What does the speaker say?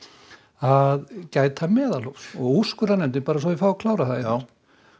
að gæta meðalhófs úrskurðarnefndin svo ég fái að klára það